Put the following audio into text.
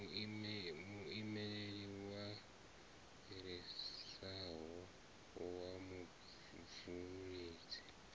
muimeli a fhirisaho wa mubveledzi